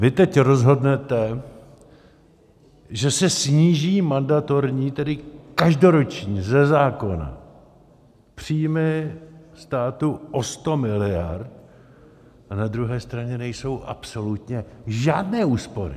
Vy teď rozhodnete, že se sníží mandatorní, tedy každoroční, ze zákona, příjmy státu o 100 miliard, a na druhé straně nejsou absolutně žádné úspory.